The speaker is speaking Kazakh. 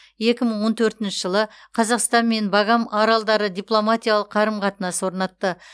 екі мың он төртінші жылы қазақстан мен багам аралдары дипломатиялық қарым қатынас орнатты